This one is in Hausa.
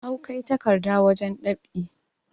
awkai rakarda wajen ɗab'i